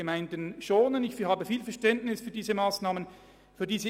Ich bringe Ihren Entscheiden viel Verständnis entgegen.